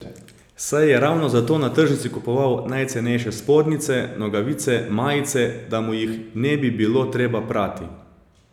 Saj je ravno zato na tržnici kupoval najcenejše spodnjice, nogavice, majice, da mu jih ne bi bilo treba prati.